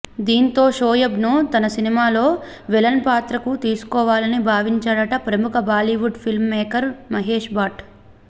దీంతో షోయబ్ను తన సినిమాలో విలన్ పాత్రకు తీసుకోవాలని భావించాడట ప్రముఖ బాలీవుడ్ ఫిల్మ్ మేకర్ మహేష్ భట్